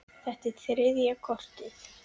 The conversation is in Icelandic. Þetta var þriðja kortið.